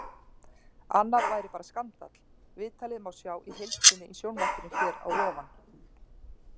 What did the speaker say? Annað væri bara skandall Viðtalið má sjá í heild sinni í sjónvarpinu hér að ofan.